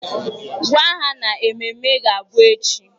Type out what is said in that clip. Gwa ha na ememme ga-abụ echi!